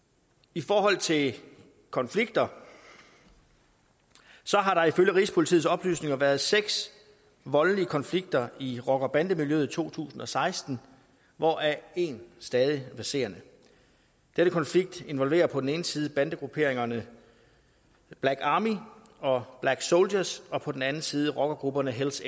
i forhold til konflikter har der ifølge rigspolitiets oplysninger været seks voldelige konflikter i rocker bande miljøet i to tusind og seksten hvoraf en stadig verserende denne konflikt involverer på den ene side bandegrupperingerne black army og black soldiers og på den anden side rockergrupperne hells